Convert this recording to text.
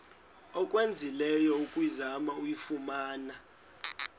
owenzileyo ukuzama ukuyifumana